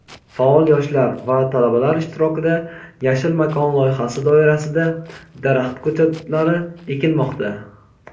faol yoshlar va talabalar ishtirokida "Yashil makon" loyihasi doirasida daraxt ko‘chatlari ekilmoqda.